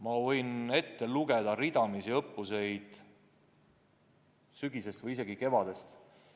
Ma võin ette lugeda ridamisi õppuseid sügisest ja isegi eelmisest kevadest peale.